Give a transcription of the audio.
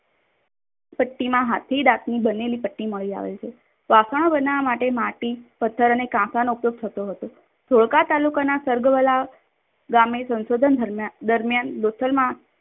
હાથની ડાકની બનેલી પેટ્ટી મળી આવે છે. વાશનો બનવવા માટે માટી પથ્થર અને કાશાનો ઉપયોગ થતો હતો. ધોળકા તાલુકાના સર્ગવાળા ગામે સંશોધન દરમિયાન લોથલમાં